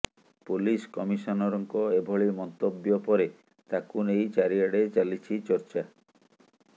police କମିଶନରଙ୍କ ଏଭଳି ମନ୍ତବ୍ୟ ପରେ ତାକୁ ନେଇ ଚାରିଆଡେ ଚାଲିଛି ଚର୍ଚ୍ଚା